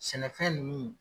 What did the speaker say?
Sɛnɛfɛn ninnu